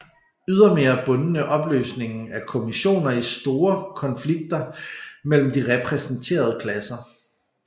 Ydermere bundende opløsningen af kommissioner i store konflikter mellem de repræsenterede klasser